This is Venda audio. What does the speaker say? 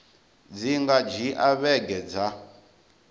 dzi nga dzhia vhege dza